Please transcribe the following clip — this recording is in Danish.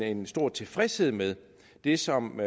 en stor tilfredshed med det som